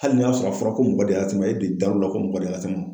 Hali n'i y'a sɔrɔ a fɔra ko mɔgɔ de y'a se i ma ,e de dar'o la ko mɔgɔ de y'a se i ma